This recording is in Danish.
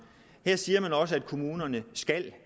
siger man også at kommunerne